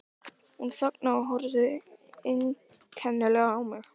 Hún þagnaði og horfði einkennilega á mig.